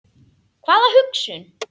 Hvaða hugsun?